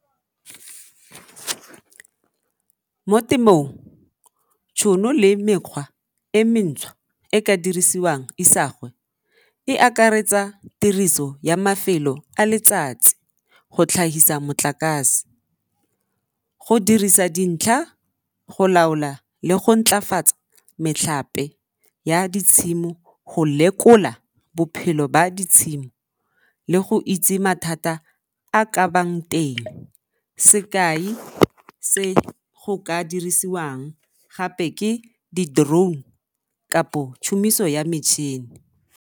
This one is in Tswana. Mo temong, tšhono le mekgwa e mentšhwa e e ka dirisiwang isagwe e akaretsa tiriso ya mafelo a letsatsi go tlhagisa motlakase, go dirisa dintlha, go laola le go ntlafatsa metlhape ya ditshimo, go lekola bophelo ba ditshimo le go itse mathata a ka bang teng. Sekai se go ka dirisiwang gape ke di-drone tšhomiso ya metšhini.